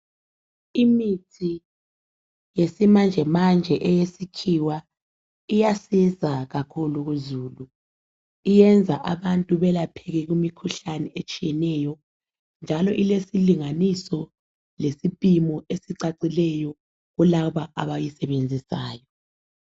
Imithi yesimanjemanje eyesikhiwa iyasiza kakhulu kuzulu. Iyenza abantu belapheke kumikhuhlane etshiyeneyo. Njalo ilesilinganiso lesipimo esicacileyo kulaba abayisebenzisayo.